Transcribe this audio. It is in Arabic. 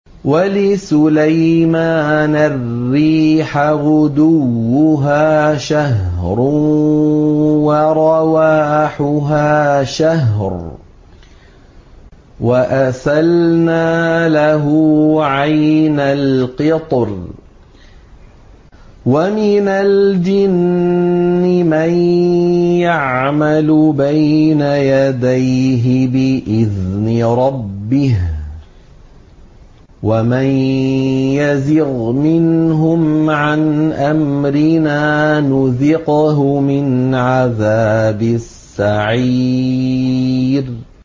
وَلِسُلَيْمَانَ الرِّيحَ غُدُوُّهَا شَهْرٌ وَرَوَاحُهَا شَهْرٌ ۖ وَأَسَلْنَا لَهُ عَيْنَ الْقِطْرِ ۖ وَمِنَ الْجِنِّ مَن يَعْمَلُ بَيْنَ يَدَيْهِ بِإِذْنِ رَبِّهِ ۖ وَمَن يَزِغْ مِنْهُمْ عَنْ أَمْرِنَا نُذِقْهُ مِنْ عَذَابِ السَّعِيرِ